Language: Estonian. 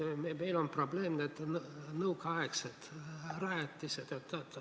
Meil on probleem nõukaaegsed rajatised.